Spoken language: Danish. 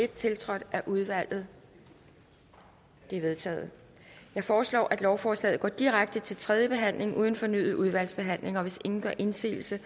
tiltrådt af udvalget det er vedtaget jeg foreslår at lovforslagene går direkte til tredje behandling uden fornyet udvalgsbehandling hvis ingen gør indsigelse